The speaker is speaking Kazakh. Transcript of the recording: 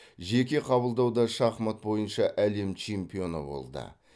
жеке қабылдауда шахмат бойынша әлем чемпионы болды